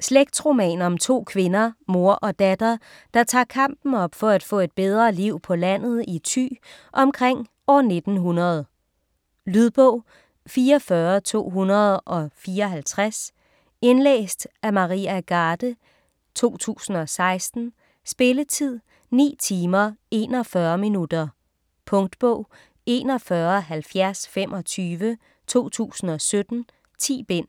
Slægtsroman om to kvinder, mor og datter, der tager kampen op for at få et bedre liv på landet i Thy omkring år 1900. Lydbog 44254 Indlæst af Maria Garde, 2016. Spilletid: 9 timer, 41 minutter. Punktbog 417025 2017. 10 bind.